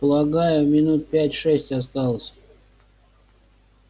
полагаю минут пять-шесть осталось